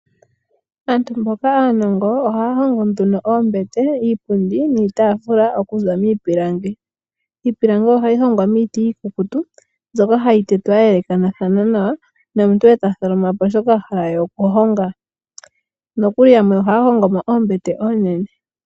Aantu mboka aaanongo ohaa hongo nduno iipundi, oombete niitafula okuza miipilangi iipilangibohayi hongwa miiti iikukutu mbyoka hayi tetwa yee elekathana nawa nomuntu eta tholoma po shoka ahala nokuli yamwe ohaa hongo no oombete oonene.